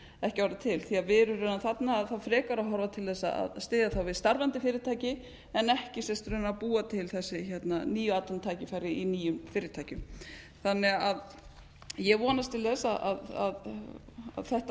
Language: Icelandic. ekki árið til við erum raunar þarna frekar að horfa til þess að styðja þá við starfandi fyrirtæki en ekki raunar að búa til þessi nýju atvinnutækifæra í nýjum fyrirtækjum ég vonast til þess að þetta